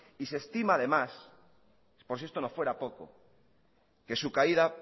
y se estima además por si esto no fuera poco que su caída